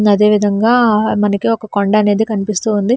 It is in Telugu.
అదేవిధంగా మనకి ఒక కొండ అనేది కనిపిస్తూ ఉంది.